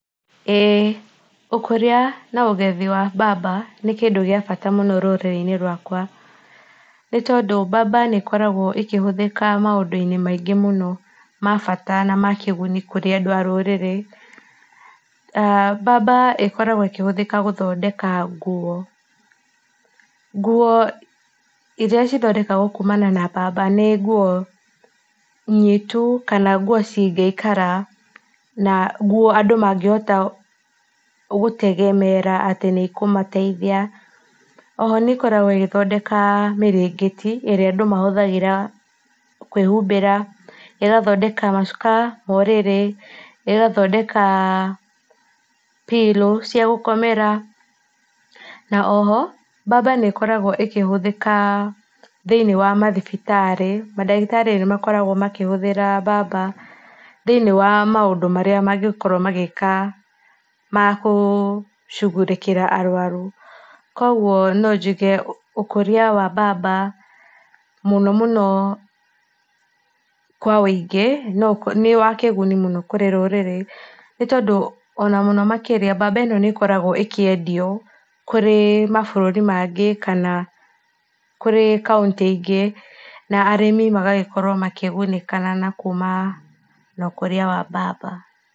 Ũkuria na ũgethi wa mbamba nĩ kĩndũ gĩa bata mũno rũrĩrĩ-inĩ rwakwa, nĩ tondũ mbamba nĩ ĩkoragwo ĩkĩhũthĩka maũndũ-inĩ maingĩ mũno, ma bata na ma kĩguni harĩ andũ a rũrĩrĩ. Mbamba ĩkoragwo ĩkĩhũthĩka gũthondeka nguo. Nguo iria cithondekagwo kumana na mbamba nĩ nguo nyitu kanaa nguo cingĩikara, na nguo andũ mangĩhota gũtegemeera atĩ nĩ ĩkũmateithia. Oho nĩ ĩkoragwo ĩgĩthondeka mĩrĩngĩti ĩrĩa andũ mahũthagĩra kwĩhumbĩra. ĩgathondeka macuka ma ũrĩrĩ, ĩgathondeka pillow cia gũkomera. Na o ho mbamba nĩ ĩkoragwo ĩkĩhũthĩka thĩinĩ wa mathibitarĩ. Mandagĩtarĩ nĩmakoragwo makĩhuthĩra mbamba thĩinĩ wa maũndũ marĩa mangĩkorwo magika magũcugurĩkĩra arũaru. Koguo no njuge ũkũria wa mbamba mũno mũno kwa wĩingĩ nĩwa kĩguni mũno kũrĩ rũrĩrĩ. Nĩ tondũ ona muno makĩria mbamba ĩno nĩ ĩkoragwo ĩkĩendio kurĩ mabũrũrĩ mangĩ kana kũri county ingĩ. Na arĩmi magagĩkorwo makĩgunĩkana na kuma na ũkũria wa mbamba.